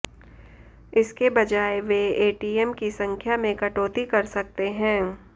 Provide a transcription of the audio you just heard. इसके बजाय वे एटीएम की संख्या में कटौती कर सकते हैं